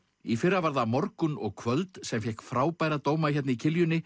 í fyrra var það morgunn og kvöld sem fékk frábæra dóma hérna í